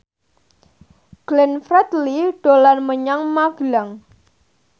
Glenn Fredly dolan menyang Magelang